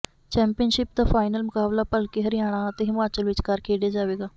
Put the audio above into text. championship ਦਾ final ਮੁਕਾਬਲਾ ਭਲਕੇ ਹਰਿਆਣਾ ਅਤੇ ਹਿਮਾਚਲ ਵਿਚਕਾਰ ਖੇਡਿਆ ਜਾਵੇਗਾ